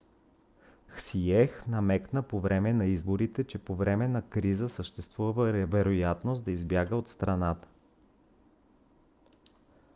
хсиех намекна по време на изборите че по време на криза съществува вероятност ма да избяга от страната